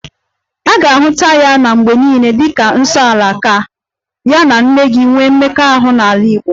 A ga-ahụta ya mgbe niile dịka 'nsoala' ka ya na nne gị nwee mmekọahụ n'ala Igbo